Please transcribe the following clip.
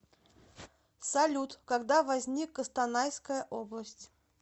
салют когда возник костанайская область